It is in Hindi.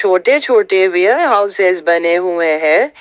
छोटे छोटे वेयरहाउसेस बने हुए हैं।